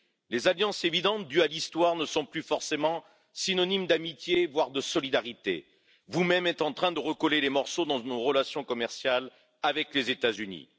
Les alliances évidentes dues à l'histoire ne sont plus forcément synonyme d'amitié, voire de solidarité. Vous même êtes en train de recoller les morceaux de nos relations commerciales avec les États Unis.